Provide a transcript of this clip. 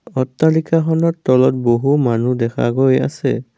অট্টালিকাখনৰ তলত বহু মানুহ দেখা গৈ আছে।